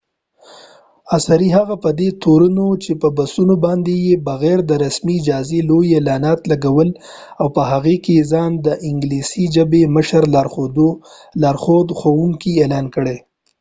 عصری هغه په دي تورنو چې په بسونو باندي یې بغیر د رسمی اجازی لوي اعلانات لګولی او په هغې کې یې ځا ن دانګلیسی ژبی مشر لارښود ښوونکې اعلان کړي دي